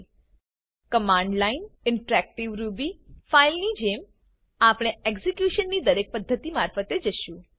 command line command line interactive Ruby interactive Ruby file ની જેમ આપણે એક્ઝેક્યુશનની દરેક પદ્ધતિ મારફતે જશું